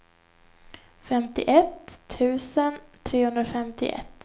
femtioett tusen trehundrafemtioett